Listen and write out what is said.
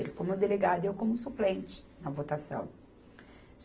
Ele como delegado e eu como suplente na votação.